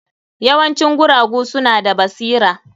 Yawancin guragu suna da basira.